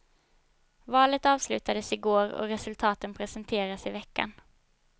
Valet avslutades igår och resultaten presenteras i veckan.